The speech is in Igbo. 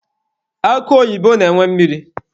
Akụ oyibo na-enwe mmiri.